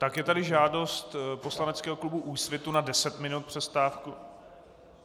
Takže je tady žádost poslaneckého klubu Úsvitu na 10 minut přestávky.. .